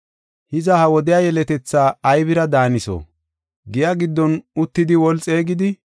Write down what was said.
“Hiza, ha wodiya yeletethaa aybira daaniso? Giya giddon uttidi woli xeegidi,